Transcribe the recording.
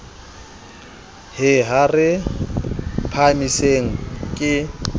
he ha re phahamiseng ke